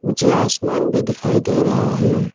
मुझे आसमान भी दिखाई दे रहा है।